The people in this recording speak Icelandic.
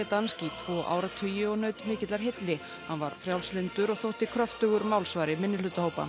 tvo áratugi og naut mikillar hylli hann var frjálslyndur og kröftugur málsvari minnihlutahópa